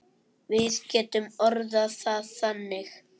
Við getum orðað það þannig.